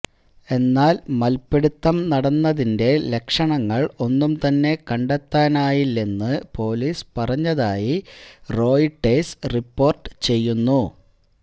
എന്നാല് മല്പിടുത്തം നടന്നതിന്റെ ലക്ഷണങ്ങള് ഒന്നും തന്നെ കണ്ടെത്താനായില്ലെന്ന് പൊലീസ് പറഞ്ഞതായി റോയിട്ടേഴ്സ് റിപ്പോര്ട്ട് ചെയ്യുന്നു